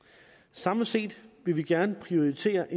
samlet set vil vi gerne prioritere